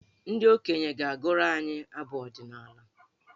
Ndị okenye ga-agụrụ anyị abụ ọdịnaala.